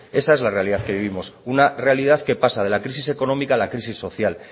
esa es la realidad que vivimos una realidad que pasa de la crisis económica a la crisis social